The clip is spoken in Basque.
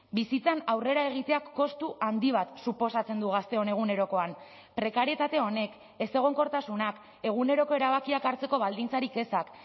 bizitzan aurrera egiteak kostu handi bat suposatzen du gazteon egunerokoan prekarietate honek ezegonkortasunak eguneroko erabakiak hartzeko baldintzarik ezak